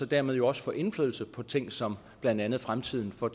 dermed også få indflydelse på ting som blandt andet fremtiden for